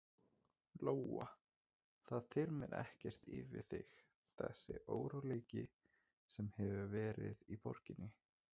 Lóa: Það þyrmir ekkert yfir þig þessi óróleiki sem hefur verið í borginni?